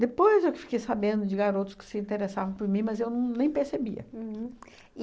Depois eu que fiquei sabendo de garotos que se interessavam por mim, mas eu nem percebia.